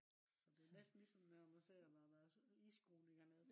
så det er næsten ligesom når man ser når der er isskråninger ned